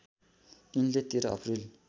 यिनले १३ अप्रिल